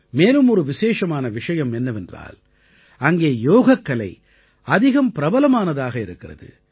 மேலும் ஒரு விசேஷமான விஷயம் என்னவென்றால் அங்கே யோகக்கலை அதிகம் பிரபலமானதாக இருக்கிறது